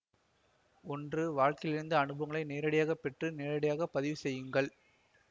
ஒன்று வாழ்க்கையிலிருந்து அனுபவங்களை நேரடியாகப்பெற்று நேரடியாகவே பதிவுசெய்யும் க்கங்கள்